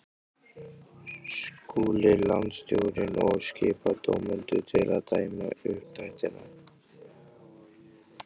Skuli landsstjórnin og skipa dómendur til að dæma uppdrættina.